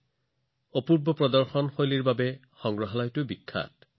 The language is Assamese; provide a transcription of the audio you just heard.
ই ইয়াৰ অনন্য প্ৰদৰ্শনৰ বাবেও জনাজাত